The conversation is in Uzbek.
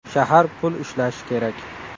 Shahar pul ishlashi kerak.